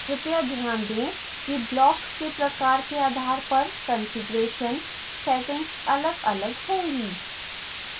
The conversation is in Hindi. कृपया ध्यान दें कि block के प्रकार के आधार पर कॉन्फ़िगरेशन settings अलगअलग होंगी